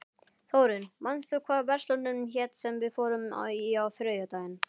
Þórinn, manstu hvað verslunin hét sem við fórum í á þriðjudaginn?